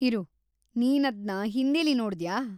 ಇರು, ನೀನದ್ನ ಹಿಂದೀಲಿ ನೋಡ್ದ್ಯಾ?